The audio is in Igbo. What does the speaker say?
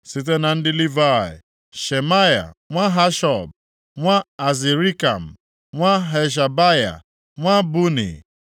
Site na ndị Livayị: Shemaya nwa Hashub, nwa Azrikam, nwa Hashabaya, nwa Buni,